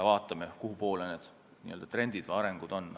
Vaatame kuhupoole trendid või arengud suunduvad.